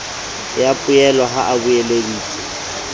ya poello ha o beeleditse